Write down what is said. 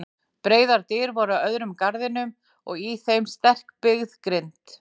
Breiðar dyr voru á öðrum garðinum og í þeim sterkbyggð grind.